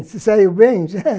Se saiu bem?